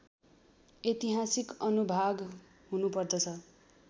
ऐतिहासिक अनुभाग हुनुपर्दछ